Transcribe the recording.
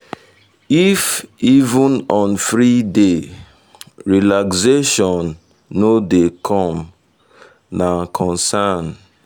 if even on free day relaxation day relaxation no dey come na concern.